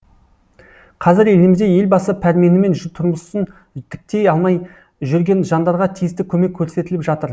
қазір елімізде елбасы пәрменімен тұрмысын тіктей алмай жүрген жандарға тиісті көмек көрсетіліп жатыр